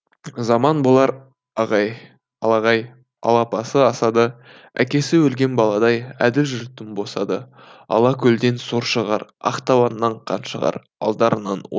заман болар ағай алағай алапасы асады әкесі өлген баладай әділ жұрттың босады алқакөлден сор шығар ақтабаннан қан шығар алдарынан ор